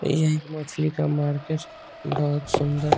ये एक मछली का मार्केट है बहुत सुन्दर --